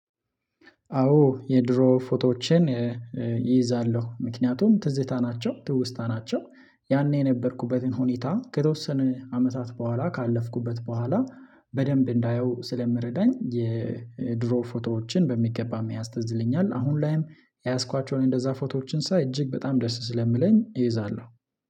አወ የድሮ ፎቶወቸን እይዛለሁ ምክንያቱም ትዝታ ናቸው ትውስታ ናቸው። ያኔ የነበርኩበትን ሁኔታ ከተወሰነ አመታት በኋላ ካለፍኩበት በኋላ በደንብ እንዳየው ስለምረዳኝ። የድሮ ፎቶወችን በሚገባ መያዝ ትዝለኛል። አሁን ላይም የያዝኳቸውን እንደዛ ፎቶዎችን ሳይ እጅግ በጣም ደስ ስለሚለኝ እይዛለሁ።